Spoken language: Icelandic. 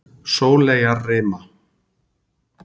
Sóleyjarima